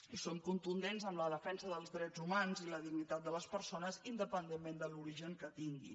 i som contundents en la defensa dels drets humans i la dignitat de les persones independentment de l’origen que tinguin